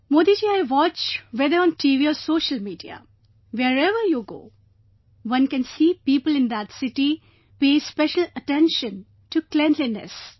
Modi ji I watch whether on TV or Social Media, wherever you go, one can see people in that city pay special attention to cleanliness